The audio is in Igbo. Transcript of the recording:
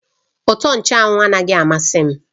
Utọ nchụ́anwu anaghị amasị m